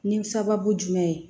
Ni sababu jumɛn ye